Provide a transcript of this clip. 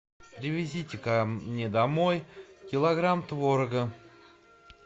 привезите ка мне домой килограмм творога